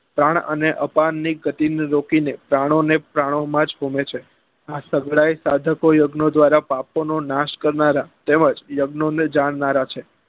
પ્રાણ અને અપરાન ની ગતી ને રોકી ને પ્રાણો ને પ્રાણો માં જ હોમે છે આ સગલા એ સાધકો યજ્ઞો દ્વારા પાપો નો નાશ કરનારા તેમજ યજ્ઞો ને જાણનારા છે